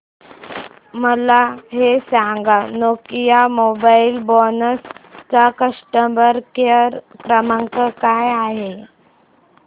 मला हे सांग नोकिया मोबाईल फोन्स चा कस्टमर केअर क्रमांक काय आहे